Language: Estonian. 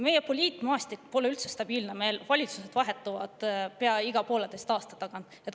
Meie poliitmaastik pole üldse stabiilne, valitsus vahetub meil pea iga pooleteise aasta tagant.